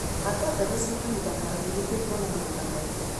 Handa mbegũ cia kahinda karaihu nĩguo kuona magetha maingĩ.